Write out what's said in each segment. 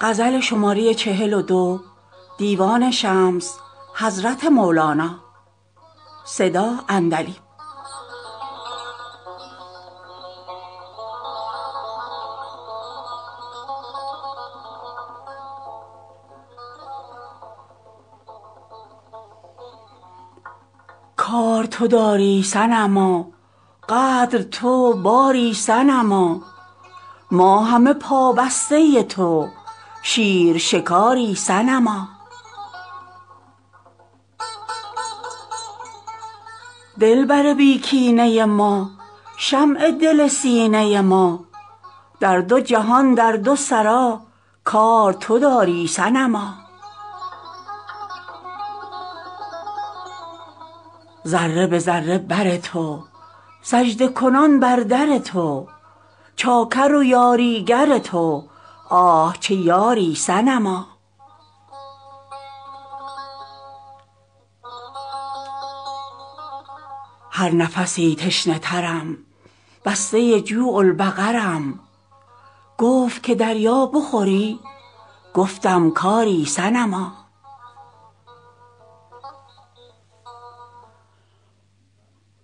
کار تو داری صنما قدر تو باری صنما ما همه پابسته تو شیر شکاری صنما دلبر بی کینه ما شمع دل سینه ما در دو جهان در دو سرا کار تو داری صنما ذره به ذره بر تو سجده کنان بر در تو چاکر و یاریگر تو آه چه یاری صنما هر نفسی تشنه ترم بسته جوع البقرم گفت که دریا بخوری گفتم که آری صنما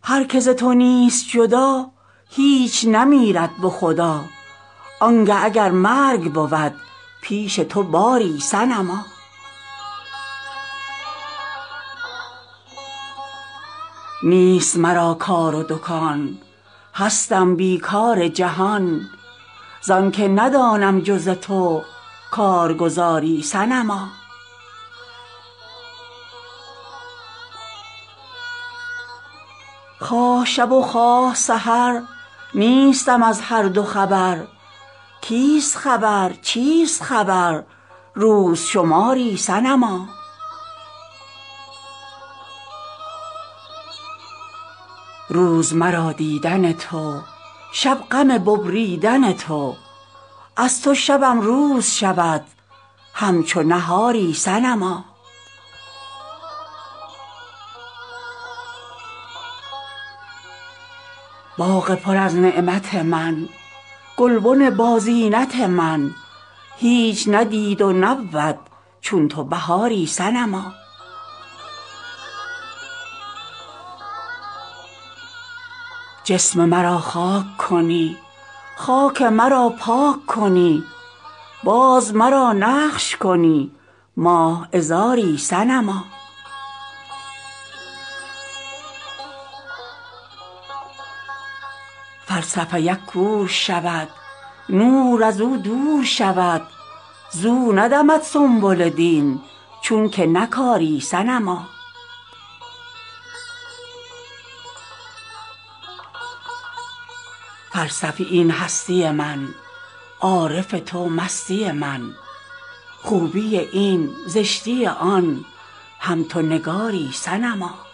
هر کی ز تو نیست جدا هیچ نمیرد به خدا آنگه اگر مرگ بود پیش تو باری صنما نیست مرا کار و دکان هستم بی کار جهان زان که ندانم جز تو کارگزاری صنما خواه شب و خواه سحر نیستم از هر دو خبر کیست خبر چیست خبر روز شماری صنما روز مرا دیدن تو شب غم ببریدن تو از تو شبم روز شود همچو نهاری صنما باغ پر از نعمت من گلبن بازینت من هیچ ندید و نبود چون تو بهاری صنما جسم مرا خاک کنی خاک مرا پاک کنی باز مرا نقش کنی ماه عذاری صنما فلسفی ک کور شود نور از او دور شود زو ندمد سنبل دین چونک نکاری صنما فلسفی این هستی من عارف تو مستی من خوبی این زشتی آن هم تو نگاری صنما